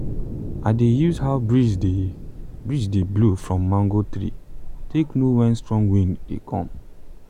i dey use how breeze dey breeze dey blow from mango tree take know when strong wind dey come.